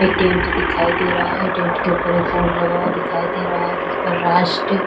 एक टेंट दिखाई दे रहा है टेंट के ऊपर एक बोर्ड लगा हुआ दिखाई दे रहा है जिस पर राष्ट्र--